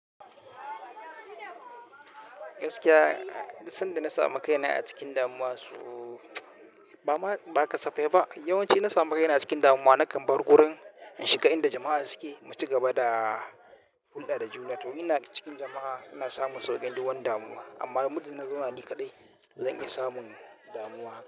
Gaskiya, dan da na samu kai na a cikin damuwa su ba ma, ba kasafai ba. Yawanci na samu kai na a cikin damuwa nakan bar wurin in shiga inda jama'a suke. Mu ci gaba da hulɗa da juna. To ina cikin jama'a ina samun sauƙin dukan damuwa. Amma mudin ina zaune ni kaɗai, zan iya samun damuwa haka.